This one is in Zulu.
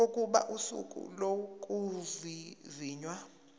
kokuba usuku lokuvivinywa